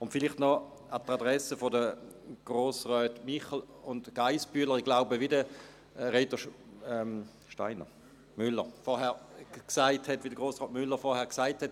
Und vielleicht noch an die Adresse der Grossräte Michel und Geissbühler: Wie Grossrat Müller vorhin gesagt hat: